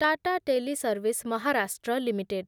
Tata teleservice Maharashtra limited